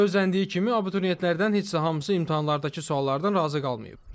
Gözləndiyi kimi abituriyentlərdən heç də hamısı imtahanlardakı suallardan razı qalmayıb.